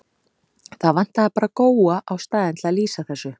Það vantaði bara Góa á staðinn til að lýsa þessu.